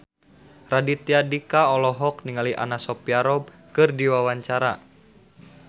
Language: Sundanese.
Raditya Dika olohok ningali Anna Sophia Robb keur diwawancara